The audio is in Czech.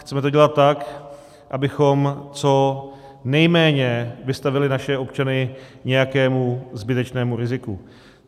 Chceme to dělat tak, abychom co nejméně vystavili naše občany nějakému zbytečnému riziku.